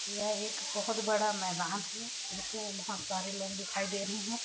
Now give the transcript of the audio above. यह एक बहोत बड़ा मैदान है इसमें बहोत सारे लोग दिखाई दे रहे है।